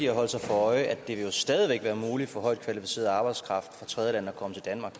holde sig for øje at det stadig vil være muligt for højt kvalificeret arbejdskraft fra tredjelande at komme til danmark